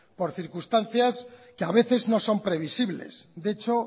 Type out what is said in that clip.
por circunstancias que a veces no son previsibles de hecho